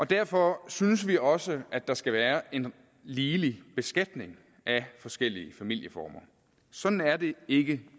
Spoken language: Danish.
derfor synes vi også at der skal være en ligelig beskatning af forskellige familieformer sådan er det ikke